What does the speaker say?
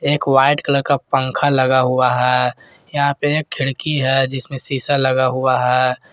एक white colour का पंखा लगा हुआ है यहां पे खिड़की है जिसमें शीशा लगा हुआ है।